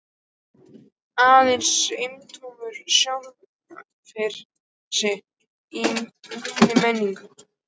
Aðeins endurómur sjálfra sín í minni minningu.